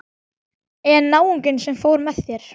En náunginn sem fór með þér?